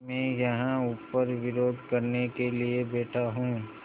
मैं यहाँ ऊपर विरोध करने के लिए बैठा हूँ